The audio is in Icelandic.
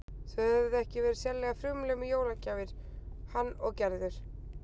Þau höfðu ekki verið sérlega frumleg með jólagjafir, hann og Gerður.